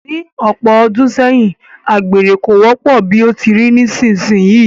Ní ọ̀pọ̀ ọdún sẹ́yìn, agbere kò wọ́pọ̀ bí ó ti rí nísinsìnyí